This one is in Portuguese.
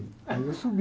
Aí eu subi.